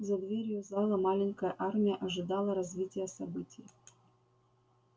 за дверью зала маленькая армия ожидала развития событий